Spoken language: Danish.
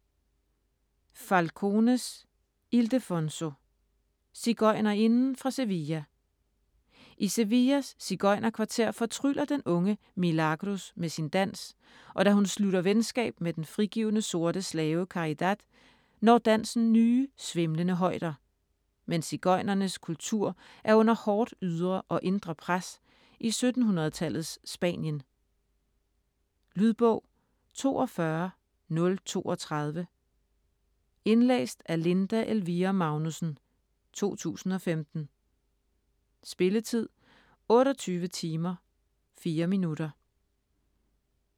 Falcones, Ildefonso: Sigøjnerinden fra Sevilla I Sevillas sigøjnerkvarter fortryller den unge Milagros med sin dans, og da hun slutter venskab med den frigivne sorte slave Caridad, når dansen nye, svimlende højder. Men sigøjnernes kultur er under hårdt ydre og indre pres i 1700-tallets Spanien. Lydbog 42032 Indlæst af Linda Elvira Magnussen, 2015. Spilletid: 28 timer, 4 minutter.